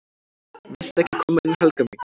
"""VILTU EKKI KOMA INN, HELGA MÍN!"""